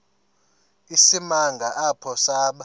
isimanga apho saba